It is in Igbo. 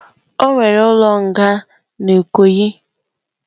Onwere ulo nga n'Ikoyi.